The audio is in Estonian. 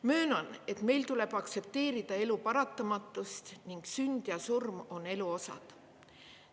Möönan, et meil tuleb aktsepteerida elu paratamatust ning sünd ja surm on elu osad.